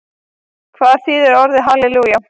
Hvað þýðir orðið halelúja?